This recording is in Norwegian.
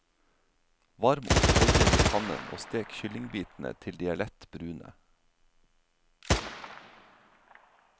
Varm opp oljen i pannen og stek kyllingbitene til de er lett brune.